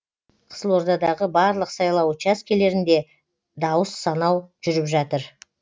қызылордадағы барлық сайлау учаскелерінде дауыс санау жүріп жатыр